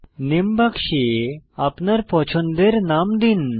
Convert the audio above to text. নামে বাক্সে আপনার পছন্দের নাম দিন